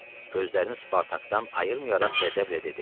Gözlərini Spartakdan ayırmayaraq qəzəblə dedi: